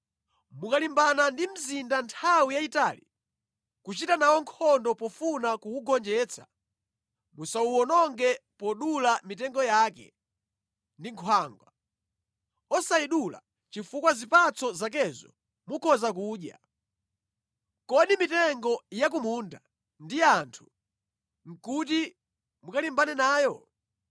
Mukalimbana ndi mzinda nthawi yayitali, kuchita nawo nkhondo pofuna kuwugonjetsa, musawononge podula mitengo yake ndi nkhwangwa, osayidula chifukwa zipatso zakezo mukhoza kudya. Kodi mitengo ya ku munda ndi anthu kuti mukalimbane nayo?